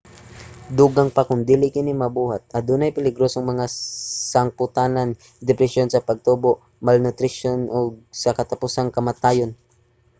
dugang pa kung dili kini mabuhat adunay peligrosong mga sangpotanan: depresyon sa pagtubo malnutrisyon ug sa katapusan kamatayon